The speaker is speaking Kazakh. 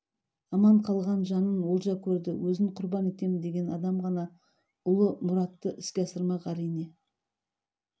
аман қалған жанын олжа көрді өзін құрбан етем деген адам ғана ұлы мұратты іске асырмақ әрине